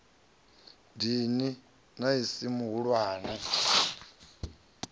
dini na i si mihulwane